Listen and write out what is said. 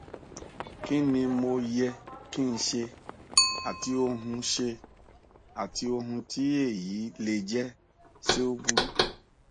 wíwú ní ẹsẹ òsì lẹyìn um èyí um tí ibà um sì tẹlé e